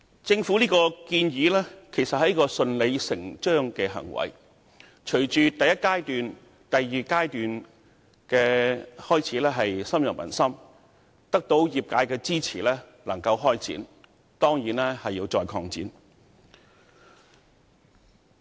政府當前的建議，是順理成章的行為，既然第一及第二階段的計劃開始深入民心，又得到業界支持開展，當局理應進一步擴展計劃。